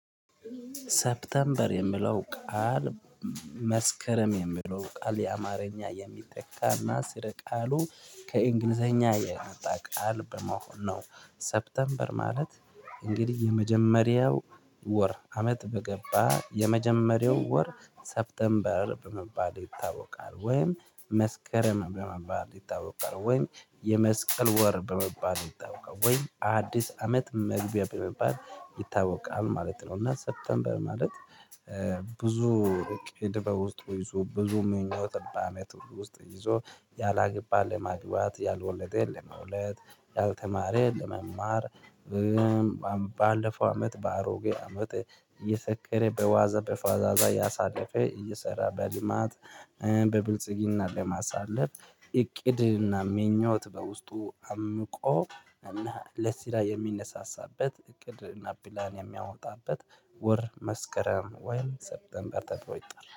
ሰፕተምበር የሚለው ቃል መስከረም የሚለው ቃል የአማርኛ የሚተካና ስር ቃሉ ከእንግሊዘኛ የመጣ ቃል በመሆን ነው። ሰፕተምበር ማለት እንግዲህ የመጀመሪያው ወር አመት በገባ የመጀመሪያው ወር ሰፕተንበር በመባል ይታወቃል ወይም መስከረም በመባል ይታወቃል ወይም የመስቀል ወር በመባል ይታወቃል ወይ አዲስ አመት መግቢያ በመባል ይታወቃል ማለት ነው። እና ሰፕተምበር በማለት ብዙ ድበው ውስጥ ይዞ ብዙ ምኞት ጠባሜ ውስጥ ይዞ ያላገባን ለማግባት ያልወለደ ለመውለድ ያልተማረ ለመማር። ባለፈው አመት በአሮጌ አመት እየሰከረ በዋዛ በፈዛዛ ያሳለፈ እየሰራ በልማት በብልጽግና ለማሳለፍ። እቅድና ምኞት በውስጡ አምቆ እና ለስራ የሚነሳሳበት እቅድ እና ፕላን የሚያወጣበት ወር መስከረም ወይን ሰፕተንበር ተብሮ ይጣላል